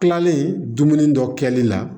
Kilalen dumuni dɔ kɛli la